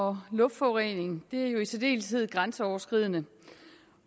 og luftforurening er jo i særdeleshed grænseoverskridende